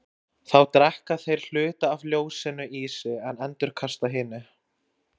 Þá drekka þeir hluta af ljósinu í sig en endurkasta hinu.